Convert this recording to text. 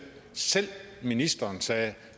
ministeren sagde